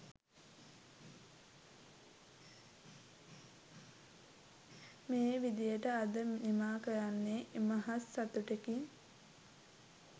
මේ විදියට අද නිමා කරන්නේ ඉමහත් සතුටකින්